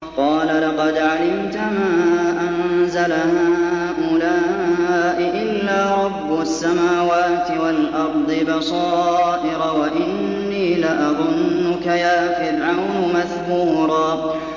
قَالَ لَقَدْ عَلِمْتَ مَا أَنزَلَ هَٰؤُلَاءِ إِلَّا رَبُّ السَّمَاوَاتِ وَالْأَرْضِ بَصَائِرَ وَإِنِّي لَأَظُنُّكَ يَا فِرْعَوْنُ مَثْبُورًا